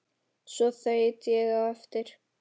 Svo þaut ég á eftir